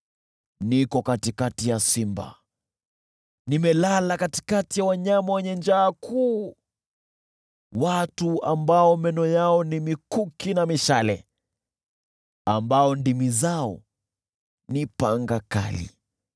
Niko katikati ya simba, nimelala katikati ya wanyama wenye njaa kuu: watu ambao meno yao ni mikuki na mishale, ambao ndimi zao ni panga kali.